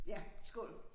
Ja skål